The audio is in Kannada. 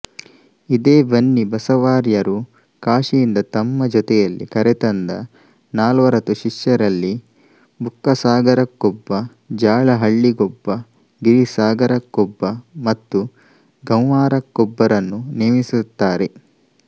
ಇದೇ ಬನ್ನಿ ಬಸವಾರ್ಯರು ಕಾಶಿಯಿಂದ ತಮ್ಮ ಜೊತೆಯಲ್ಲಿ ಕರೆತಂದ ನಾಲ್ವರತು ಶಿಷ್ಯರಲ್ಲಿ ಬುಕ್ಕಸಾಗರಕ್ಕೊಬ್ಬ ಜಾಲಹಳ್ಳಿಗೊಬ್ಬ ಗಿರಿಸಾಗರಕ್ಕೊಬ್ಬ ಮತ್ತು ಗಂವ್ಹಾರಕ್ಕೊಬ್ಬರನ್ನು ನೇಮಿಸುತ್ತಾರೆ